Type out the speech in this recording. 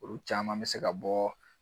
Olu caman bɛ se ka bɔ